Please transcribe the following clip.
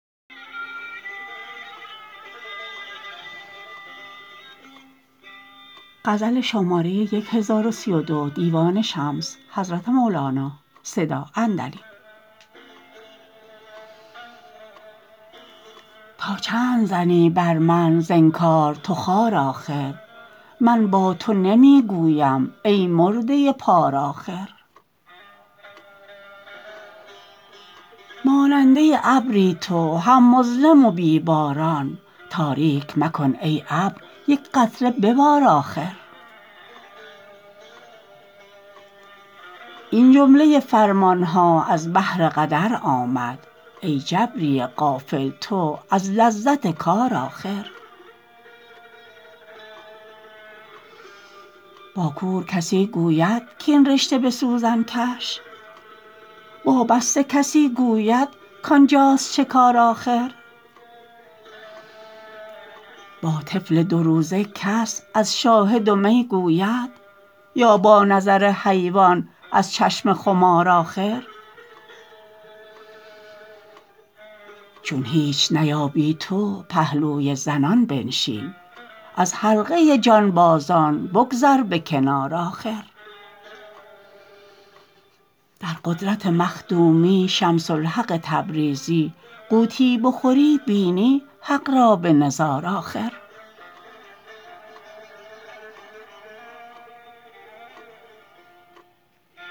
تا چند زنی بر من ز انکار تو خار آخر من با تو نمی گویم ای مرده پار آخر ماننده ابری تو هم مظلم و بی باران تاریک مکن ای ابر یک قطره ببار آخر این جمله فرمان ها از بهر قدر آمد ای جبری غافل تو از لذت کار آخر با کور کسی گوید کاین رشته به سوزن کش با بسته کسی گوید کان جاست شکار آخر با طفل دوروزه کس از شاهد و می گوید یا با نظر حیوان از چشم خمار آخر چون هیچ نیابی توی پهلوی زنان بنشین از حلقه جانبازان بگذر به کنار آخر در قدرت مخدومی شمس الحق تبریزی غوطی بخوری بینی حق را به نظار آخر